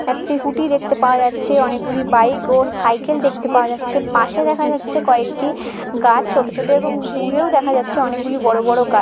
একটি স্কুটি দেখতে পাওয়া যাচ্ছে অনেকগুলি বাইক ও সাইকেল দেখতে পাওয়া যাচ্ছে পাশে দেখা যাচ্ছে কয়েকটি গাছ ছোট ছোট এবং দূরেও দেখা যাচ্ছে অনেকগুলি বড় বড় গা--